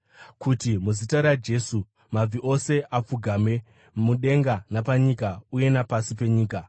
kuti muzita raJesu mabvi ose apfugame, mudenga napanyika uye napasi penyika,